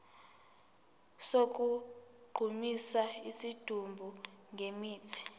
sokugqumisa isidumbu ngemithi